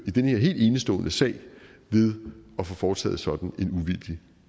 i den her helt enestående sag ved at få foretaget sådan en uvildig